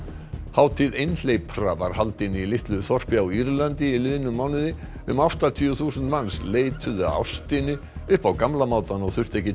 hátíð einhleypra var haldin í litlu þorpi á Írlandi í liðnum mánuði um áttatíu þúsund manns leituðu að ástinni upp á gamla mátann og þurftu ekki